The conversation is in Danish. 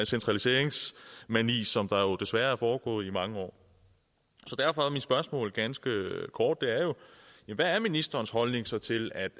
centraliseringsmani som desværre er foregået i mange år derfor er mit spørgsmål ganske kort hvad er ministerens holdning så til at